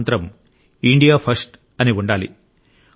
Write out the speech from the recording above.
మన మంత్రం India first అని ఉండాలి